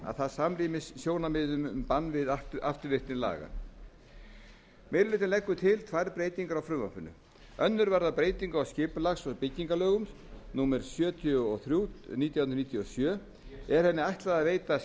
að það samrýmist sjónarmiðum um bann við afturvirkni laga meiri hlutinn leggur til tvær breytingar á frumvarpinu önnur varðar breytingu á skipulags og byggingarlögum númer sjötíu og þrjú nítján hundruð níutíu og sjö er henni ætlað að veita